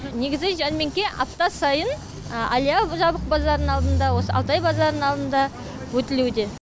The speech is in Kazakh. негізі жәрмеңке апта сайын әлия жабық базарының алдында осы алтай базарының алдында өтілуде